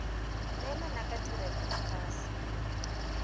neelana ka tirelo ya kgaso